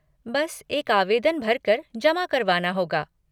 बस एक आवेदन भर कर जमा करवाना होगा।